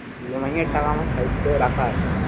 EMI এর টাকা আমার side করে রাখা আছে।